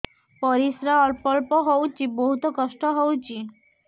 ପରିଶ୍ରା ଅଳ୍ପ ଅଳ୍ପ ହଉଚି ବହୁତ କଷ୍ଟ ହଉଚି